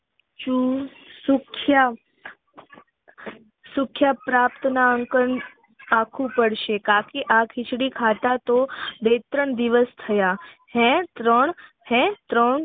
સુખ્યાત પ્રાપ્ત ના આંક આખું પડશે કાકી આ ખીચડી ખાતા તો બે ત્રણ દિવસ થયા હે ત્રણ હે ત્રણ